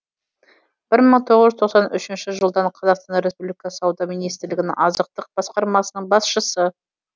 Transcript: бір мың тоғыз жүз тоқсан үшінші жылдан қазақстан республикасы сауда министрлігінің азықтық басқармасының басшысы